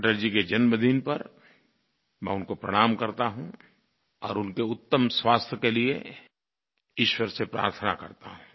अटल जी के जन्मदिन पर मैं उनको प्रणाम करता हूँ और उनके उत्तम स्वास्थ्य के लिये ईश्वर से प्रार्थना करता हूँ